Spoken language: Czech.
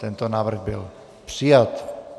Tento návrh byl přijat.